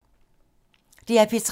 DR P3